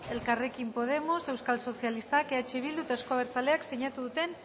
elkarrekin podemos euskal sozialistak eh bildu eta euzko abertzaleek sinatu duten